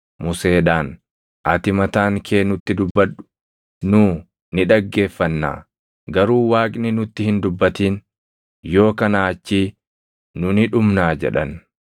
Museedhaan, “Ati mataan kee nutti dubbadhu; nu ni dhaggeeffannaa. Garuu Waaqni nutti hin dubbatin. Yoo kanaa achii nu ni dhumnaa” jedhan.